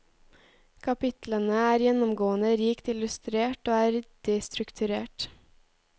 Kapitlene er gjennomgående rikt illustrert og er ryddig strukturert.